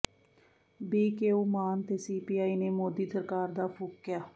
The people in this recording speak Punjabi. ਬੀਕੇਯੂ ਮਾਨ ਤੇ ਸੀਪੀਆਈ ਨੇ ਮੋਦੀ ਸਰਕਾਰ ਦਾ ਫੂਕਿਆ